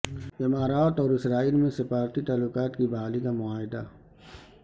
امارات اور اسرائیل میں سفارتی تعلقات کی بحالی کا معاہدہ